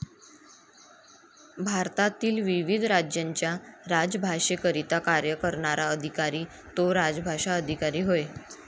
भारतातील विविध राज्यांच्या राजभाषेकरिता कार्य करणारा अधिकारी तो राजभाषा अधिकारी होय.